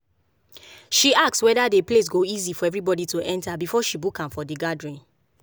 she ask whether the place go easy for everybody to enter before she book am for the gathering.